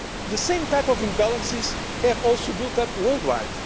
The same types of imbalances have also built up worldwide.